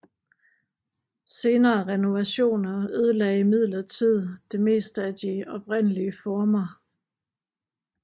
Senere renovationer ødelagde imidlertid det meste af de oprindelige former